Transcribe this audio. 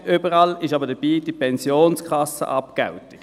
Immer dabei ist aber die Pensionskassenabgeltung.